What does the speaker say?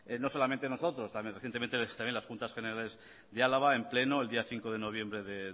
no solamente nosotros también las juntas generales de álava en pleno el día cinco de noviembre de